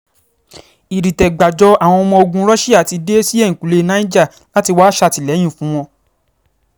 ìdìtẹ̀-gbájọ àwọn ọmọ ogun russia ti dé sí ẹ̀yìnkùlé niger láti wáá ṣàtìlẹ́yìn fún wọn